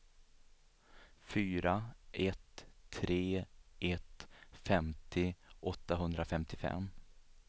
fyra ett tre ett femtio åttahundrafemtiofem